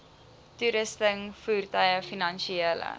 toerusting voertuie finansiële